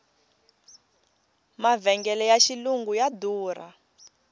mavhengele ya xilungu ya durha